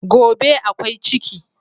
Gobe ​​akwai ciki